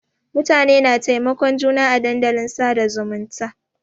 Mutane na taimakon juna à dandalin sada zumunta.